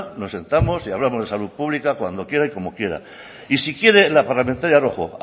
nos sentamos y hablamos de salud pública cuando quiera y como quiera y si quiere la parlamentaria rojo